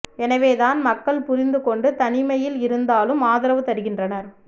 எனவே தான் மக்கள் புரிந்து கொண்டு தனிமையில் இருந்தாலும் ஆதரவு தருகின்றனர்